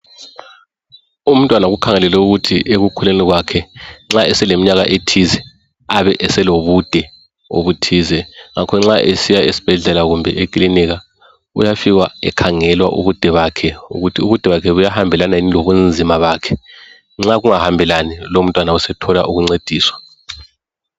Umntwana kukhangelelwe ukuthi ekukhuleni kwakhe nxa eseleminyaka thize Abe eselobude obuthize. Ngakho nxa esiya esibhedlela kumbe ekilinika, uyafika ekhangelwa ubude bakhe ukuthi ubude bakhe buyahambelana yini lobunzima bakhe nxa kungahambelani lowo mntwana sethola ukuncediswa.